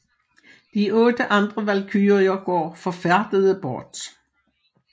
De otte andre valkyrier går forfærdede bort